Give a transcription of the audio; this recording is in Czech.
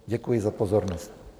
Děkuji za pozornost.